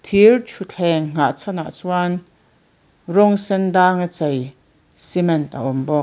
thir thutthleng nghahchhan ah chuan rawng sendang a chei cement a awm bawk.